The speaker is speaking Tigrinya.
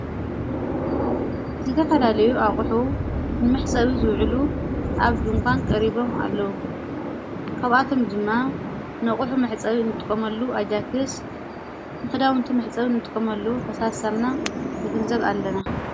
ዝተኻላለዩ ኣቝሑ ንምሕጸብ ዝውዕሉ ኣብ ድንኳን ቀሪቦም ኣለዉ ካብኣቶም ድማ ነቝሑ መሕጸዊ እንጥቆመሉ ኣጃክስ ንኽዳውንቲ መሕጸቡ እንጥቆመሉ ፈሳሳምና ንግንዘብ ኣለና።